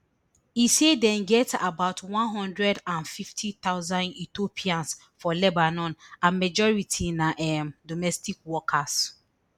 e say dem get about one hundred and fifty thousand ethiopians for lebanon and majority na um domestic workers